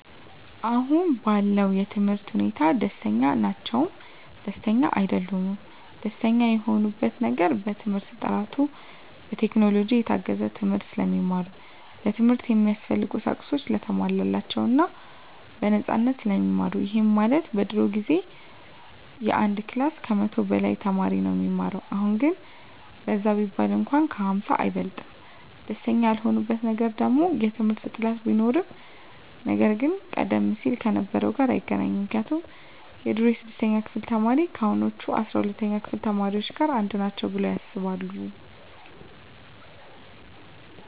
አሁን ባለው የትምህርት ሁኔታ ደስተኛ ናቸውም ደስተኛም አይደሉምም። ደስተኛ የሆኑበት ነገር በትምህርት ጥራቱ፣ በቴክኖሎጂ የታገዘ ትምህርት ስለሚማሩ፣ ለትምህርት እሚያስፈልጉ ቁሳቁሶች ሰለተሟሉላቸው እና በነፃነት ስለሚማሩ ይህም ማለት በድሮ ጊዜ ከአንድ ክላስ ከመቶ በላይ ተማሪ ነው እሚማረው አሁን ግን በዛ ቢባል እንኳን ከ ሃምሳ አይበልጥም። ደስተኛ ያልሆኑበት ነገር ደግሞ የትምህርት ጥራት ቢኖርም ነገር ግን ቀደም ሲል ከነበረው ጋር አይገናኝም ምክንያቱም የድሮ የስድስተኛ ክፍል ተማሪዎች ከአሁኖቹ አስራ ሁለተኛ ክፍል ተማሪዎች ጋር አንድ ናቸው ብለው ያስባሉ።